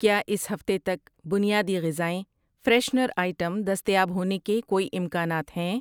کیا اس ہفتے تک بنیادی غذائیں ، فریشنر آئٹم دستیاب ہونے کے کوئی امکانات ہیں؟